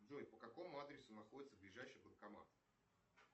джой по какому адресу находится ближайший банкомат